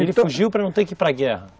Ele fugiu para não ter que ir para guerra?